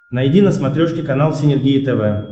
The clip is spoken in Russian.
найди на смотрешке канал синергия тв